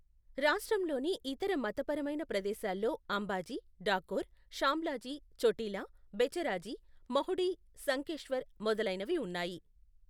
రాష్ట్రంలోని ఇతర మతపరమైన ప్రదేశాల్లో అంబాజీ, డాకోర్, షామ్లాజీ, చోటిలా, బెచరాజీ, మహుడి, శంఖేశ్వర్ మొదలైనవి ఉన్నాయి.